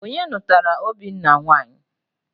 Onye nụtara Obinna nwanyị?